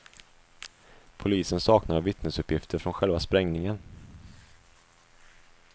Polisen saknar vittnesuppgifter från själva sprängningen.